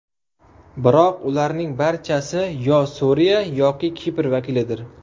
Biroq ularning barchasi yo Suriya, yoki Kipr vakilidir.